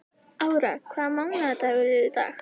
Ára, hvaða mánaðardagur er í dag?